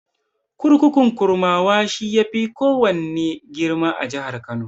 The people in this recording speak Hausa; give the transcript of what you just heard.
Kurkukun Kurmawa, shi ya fi kowanne girma a jihar Kano.